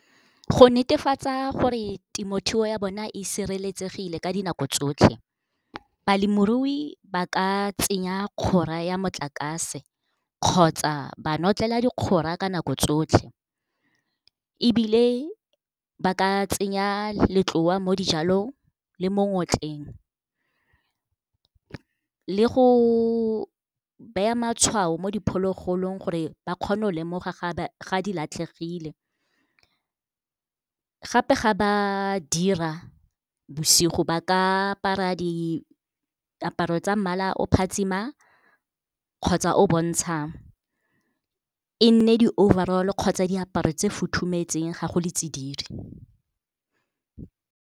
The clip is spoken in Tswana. Go netefatsa gore temothuo ya bona e sireletsegile ka dinako tsotlhe, balemirui ba ka tsenya ya motlakase kgotsa ba notlela ka nako tsotlhe. Ebile ba ka tsenya letloa mo dijalong le mo ngotleng, le go beya matshwao mo diphologolong gore ba kgone go lemoga ga di latlhegile. Gape ga ba dira bosigo, ba ka apara diaparo tsa mmala o phatsimang kgotsa o bontshang, e nne di-overall-o kgotsa diaparo tse futhumetseng ga go le tsididi.